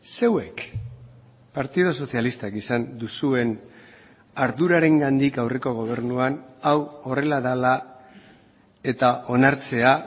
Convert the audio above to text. zeuek partidu sozialistak izan duzuen ardurarengandik aurreko gobernuan hau horrela dela eta onartzea